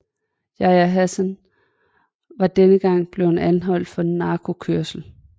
Yahya Hassan var denne gang blevet anholdt for narkokørsel